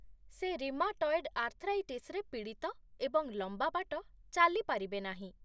ସେ ରିମାଟଏଡ ଆର୍ଥ୍ରାଇଟିସରେ ପୀଡ଼ିତ ଏବଂ ଲମ୍ବା ବାଟ ଚାଲିପାରିବେ ନାହିଁ।